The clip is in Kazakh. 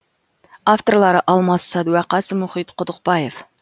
авторлары алмас садуақас мұхит құдықбаев